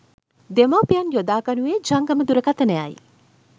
දෙමාපියන් යොදා ගනුයේ ජංගම දුරකථනයයි.